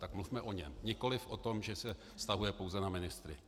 Tak mluvme o něm, nikoliv o tom, že se vztahuje pouze na ministry.